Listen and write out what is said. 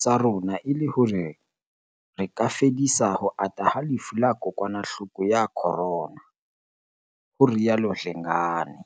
tsa rona e le hore re ka fedisa ho ata ha lefu la kokwanahloko ya Corona," ho rialo Dlengane.